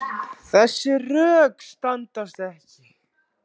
Þessi rök standast ekki.